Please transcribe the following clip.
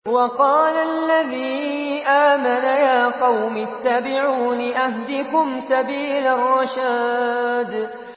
وَقَالَ الَّذِي آمَنَ يَا قَوْمِ اتَّبِعُونِ أَهْدِكُمْ سَبِيلَ الرَّشَادِ